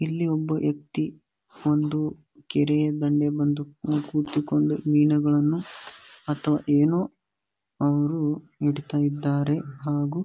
ಇಲ್ಲಿ ಒಬ್ಬ ವ್ಯಕ್ತಿ ಒಂದು ಕೆರೆಯ ದಂಡೆ ಬಂದು ಕೂತುಕೊಂಡು ಮೀನುಗಳನ್ನು ಅಥವಾ ಏನೋ ಅವರು ಹಿಡಿತ ಇದ್ದಾರೆ ಹಾಗು --